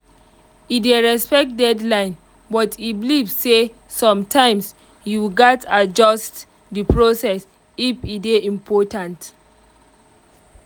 e dey respect deadline but e believe say sometimes you gats adjust the process if e dey important